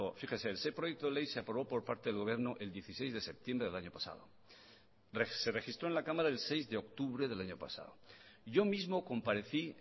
fíjese ese proyecto de ley se aprobó por parte del gobierno el dieciséis de septiembre del año pasado se registró en la cámara el seis de octubre del año pasado yo mismo comparecí